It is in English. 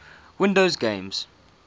windows games